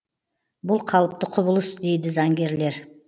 бұл қалыпты құбылыс дейді заңгерлер